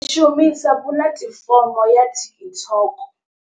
Ndi shumisa puḽatifomo ya TikTok.